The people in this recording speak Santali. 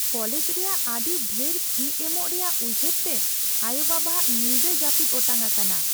ᱠᱚᱞᱮᱡᱽ ᱨᱮᱭᱟᱜ ᱟᱹᱰᱤ ᱰᱷᱮᱨ ᱯᱷᱤ ᱮᱢᱚᱜ ᱨᱮᱭᱟᱜ ᱩᱭᱦᱟᱹᱨ ᱛᱮ ᱟᱭᱳᱼᱵᱟᱵᱟᱼᱟᱜ ᱧᱤᱫᱟᱹ ᱡᱟᱹᱯᱤᱫ ᱚᱴᱟᱝ ᱟᱠᱟᱱᱟ ᱾